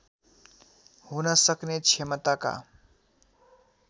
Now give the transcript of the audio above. हुन सक्ने क्षमताका